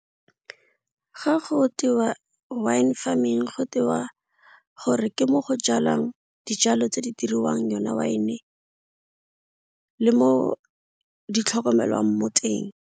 Ga go tewa wine farming go tewa gore ke mo go jalwang dijalo tse di diriwang yone wine, le mo di tlhokomelwang mo teng.